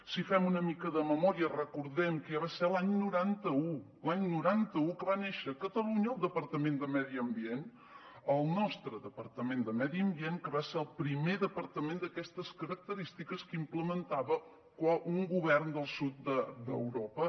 si fem una mica de memòria recordem que ja va ser l’any noranta un l’any noranta un que va néixer a catalunya el departament de medi ambient el nostre departament de medi ambient que va ser el primer departament d’aquestes característiques que implementava un govern del sud d’europa